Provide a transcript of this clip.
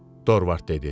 Dorvard dedi.